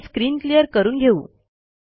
आपण screen clear करून घेऊ